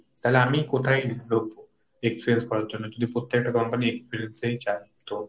তাহলে আমি কোথায় ঢুকবো experience করার জন্য যদি প্রত্যেকটা company experience ই চাই তো?